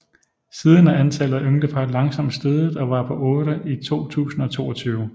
Siden er antallet af ynglepar langsomt steget og var på otte i 2022